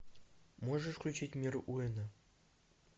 можешь включить мир уэйна